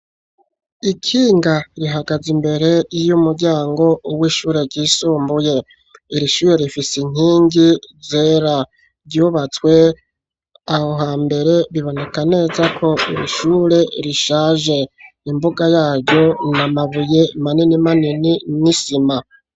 Ikinga rihagaze imbere y'umuryango w'ishure ryisumbuye, irishure rifise inkingi zera. Ryubatswe aho hambere biboneka neza ko irishure rishaje. Imbuga yaryo n'amabuye manini manini n'isima.